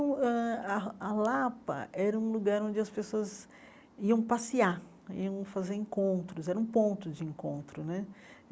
Hum ãh a a Lapa era um lugar onde as pessoas iam passear, iam fazer encontros, era um ponto de encontro, né?